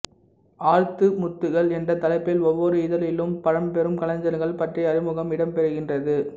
ஆழ்த்து முத்துக்கள் என்ற தலைப்பில் ஒவ்வொரு இதழிலும் பழ்ம்பெரும் கலைஞர்கள் பற்றிய அறிமுகம் இடம் பெறுகின்றது